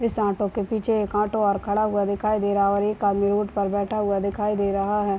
इस ऑटो के पीछे एक ऑटो और खड़ा हुआ दिखाई दे रहा है और एक आदमी उठ कर बैठा हुआ दिखाई दे रहा है।